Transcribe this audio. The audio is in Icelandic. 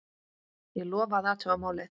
Ég lofa að athuga málið.